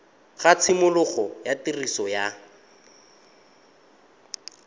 ga tshimologo ya tiriso ya